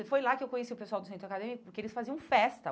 E foi lá que eu conheci o pessoal do Centro Acadêmico, porque eles faziam festa.